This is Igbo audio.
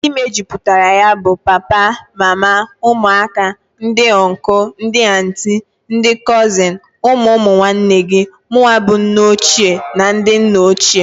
Ndi mejuputara ya bụ, papa, mama, ụmụaka, ndị ọnkụl, ndị antị, ndị kọzịn, ụmụ ụmụ nwanne gi, munwa bu nne ochie na ndi nna ochie.